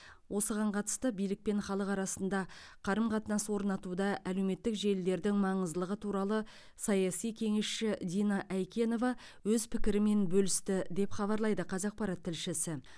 осыған қатысты билік пен халық арасында қарым қатынас орнатуда әлеуметтік желілердің маңыздылығы туралы саяси кеңесші дина айкенова өз пікірімен бөлісті деп хабарлайды қазақпарат тілшісі